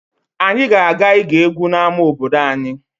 Anyị ga-aga ige egwu n'ama obodo anyị.